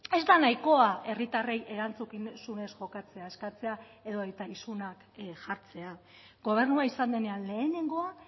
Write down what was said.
ez da nahikoa herritarrei erantzukizunez jokatzea eskatzea edota isunak jartzea gobernua izan denean lehenengoa